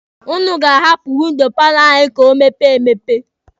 Ụnụ ga-ahapụ windo paalọ anyị ka o mepee emepe.